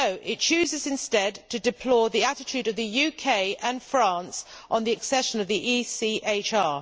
No, it chooses instead to deplore the attitude of the UK and France on EU accession to the ECHR.